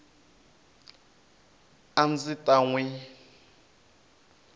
a ndzi ta n wi